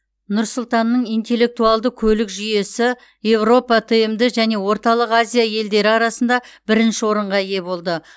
нұр сұлтанның интеллектуалды көлік жүйесі еуропа тмд және орталық азия елдері арасында бірінші орынға ие болды